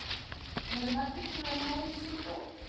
En eru margir búnir að ná í sitt dót?